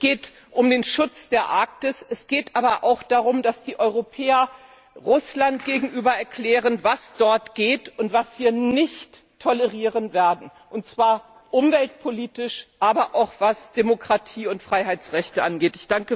Es geht um den Schutz der Arktis, es geht aber auch darum, dass die Europäer Russland gegenüber erklären, was dort geht und was wir nicht tolerieren werden, und zwar umweltpolitisch, aber auch, was Demokratie und Freiheitsrechte angeht.